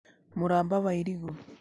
Mũramba wa irigũ.